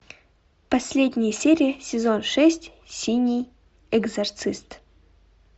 последняя серия сезон шесть синий экзорцист